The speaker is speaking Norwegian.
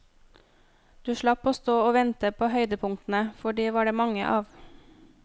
Du slapp å stå og vente på høydepunktene, for de var det mange av.